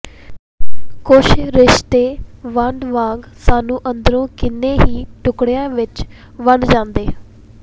ਕੁੱਝ ਰਿਸ਼ਤੇ ਵੰਡ ਵਾਂਗ ਸਾਨੂੰ ਅੰਦਰੋਂ ਕਿੰਨੇ ਹੀ ਟੁਕੜਿਆਂ ਵਿੱਚ ਵੰਡ ਜਾਂਦੇ